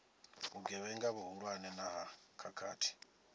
vhugevhenga vhuhulwane na ha khakhathi